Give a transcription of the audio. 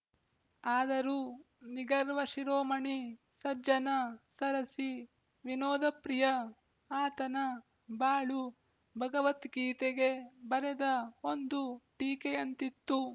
ಆದರೂ ನಿಗರ್ವಶಿರೋಮಣಿ ಸಜ್ಜನ ಸರಸಿ ವಿನೋದಪ್ರಿಯ ಆತನ ಬಾಳು ಭಗವದ್ಗೀತೆಗೆ ಬರೆದ ಒಂದು ಟೀಕೆಯಂತಿತ್ತು